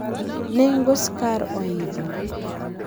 nengo skar oidho